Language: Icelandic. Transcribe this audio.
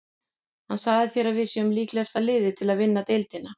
Hver sagði þér að við séum líklegasta liðið til að vinna deildina?